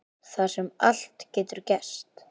Þar sem allt getur gerst.